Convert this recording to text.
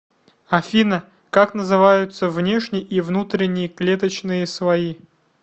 афина как называются внешний и внутренний клеточные слои